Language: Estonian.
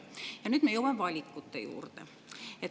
Ja nüüd me jõuame valikute juurde.